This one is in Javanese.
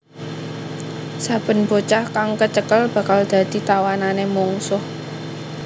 Saben bocah kang kecekel bakal dadi tawanané mungsuh